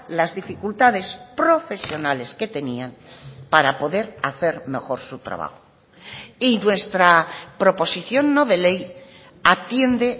las dificultades profesionales que tenían para poder hacer mejor su trabajo y nuestra proposición no de ley atiende